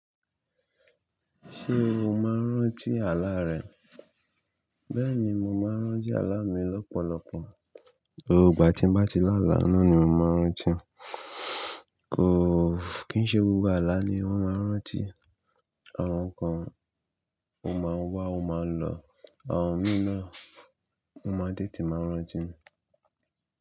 Ṣé o máa ń rántí àlá rẹ? Bẹ́ẹ̀ni, mò ń rántí àlá mi lọ́pọ̀lọpọ̀. Gbogbo ìgbà tí ń bá ti lá àlá náà ni mò ma rántí. Kò, kí í ṣe gbogbo àlá ni a máa ń rántí. Àwọn kan o máa wà o máa lọ àwọn mìíràn a máa tètè máa rántí.